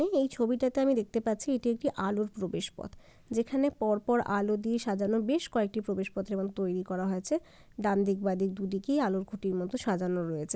এই এই ছবিটাতে আমি দেখতে পাচ্ছি এটি একটি আলোর প্রবেশপথ যেখানে পরপর আলো দিয়ে সাজানো বেশ কয়েকটি প্রবেশ পত্র এবং তৈরি করা হয়েছে ডানদিক বাঁদিক দুদিকই আলোর খুঁটির মতো সাজানো রয়েছে।